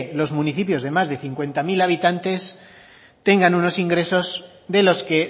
los municipios de más de cincuenta mil habitantes tengan unos ingresos de los que